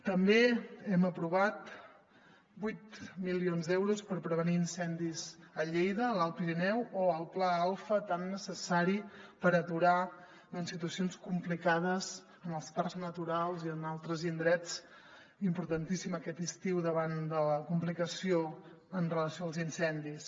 també hem aprovat vuit milions d’euros per prevenir incendis a lleida a l’alt pirineu o el pla alfa tan necessari per aturar situacions complicades en els parcs naturals i en altres indrets importantíssim aquest estiu davant de la complicació amb relació als incendis